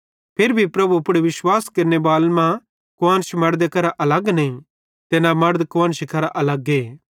फिरी भी प्रभु पुड़ विश्वास केरनेबालन मां कुआन्श मड़दे करां अलग नईं ते न मड़द कुआन्शरी करां अलगे